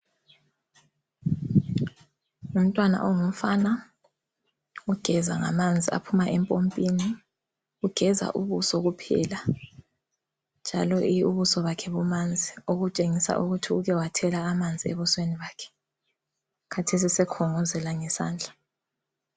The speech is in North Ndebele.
Ngumntwana ongumfana ogeza ngamanzi aphuma empompini, ugeza ubuso kuphela, njalo ubuso bakhe bumanzi okutshengisa ukuthi ukewathela amanzi ebusweni bakhe. Khathesi sekhongozela ngesandla.